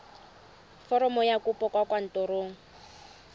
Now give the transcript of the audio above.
foromo ya kopo kwa kantorong